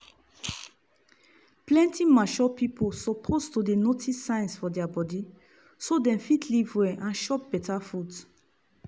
plenty mature pipiu suppose dey notice signs for deir body so dem fit live well and chop better food.